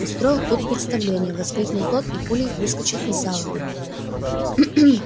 устроил тут представление воскликнул тот и пулей выскочил из зала